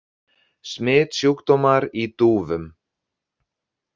Smitsjúkdómar í dúfum.